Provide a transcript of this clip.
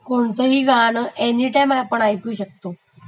कोणतही गाणं आपणं एनीटाइम ऐकू शकतो.